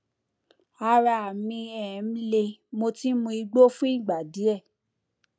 ara mi um le mo ti ń mu igbó fún ìgbà díẹ